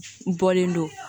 Bɔlen don